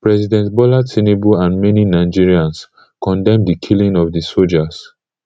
president bola tinubu and many nigerians condemn di killing of di sojas